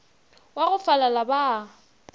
wa go falala ba a